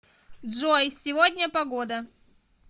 джой сегодня погода